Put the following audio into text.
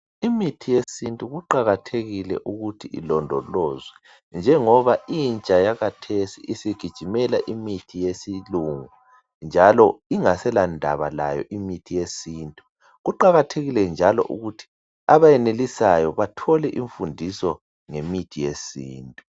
Imithi yesiNtu kuqakathekile ukuthi ilondolozwe njengoba intsha yakathesi isigijimela imithi yesilungu njalo ingasela ndaba layo imithi yesiNtu kuqakathekile njalo ukuthi abenelisayo bathole imfundiso ngemithi yesintu.